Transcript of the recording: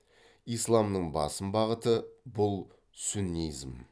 исламның басым бағыты бұл сүннизм